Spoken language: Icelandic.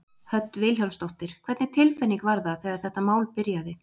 Hödd Vilhjálmsdóttir: Hvernig tilfinning var það þegar þetta mál byrjaði?